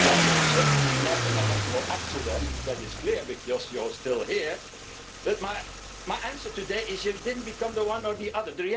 Well, you're certainly not an electoral accident, that is clear because you are still here, but my answer today is that you didn't become one or the